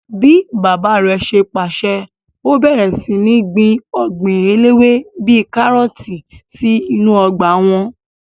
Bíi bàbá rẹ̀ ṣe pàṣẹ, ó bẹ̀rẹ̀ sí ní gbin ọgbìn eléwé bíi kárọ̀tì sí inú ọgbà wọn